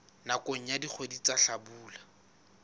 nakong ya dikgwedi tsa hlabula